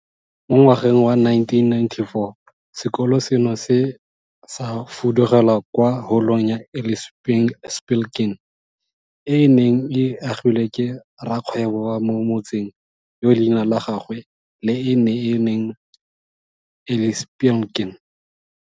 Mo ngwageng wa 1994, sekolo seno se ne sa fudugela kwa Holong ya Eli Spilkin, e e neng e agilwe ke rrakgwebo wa mo motseng yo leina la gagwe le ene e neng e le Eli Spilkin.